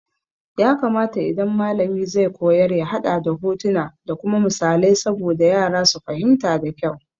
Ya kamata idan malami zai koyar ya haɗa da hotuna da kuma misalai saboda yara su fahimta da kyau.